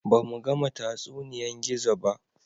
Ba mu gama tatsuniyan Gizo ba